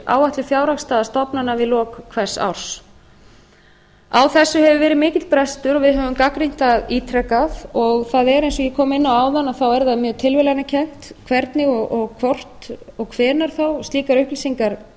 áætluð fjárhagsstaða stofnana við lok hvers árs á þessu hefur verið mikill brestur og við höfum gagnrýnt það ítrekað og eins og ég kom inn á áðan er það mjög tilviljanakennt hvernig og hvort og hvenær þá slíkar upplýsingar